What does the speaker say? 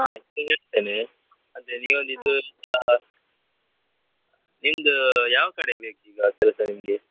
ಇದ್ರೆ ಹೇಳ್ತೇನೆ ಆದ್ರೆ ನೀವೊಂದು ಹಾ ನಿಮ್ದು ಯಾವ ಕಡೆ ಬೇಕು ಈಗ ಕೆಲ್ಸ ನಿಮ್ಗೆ?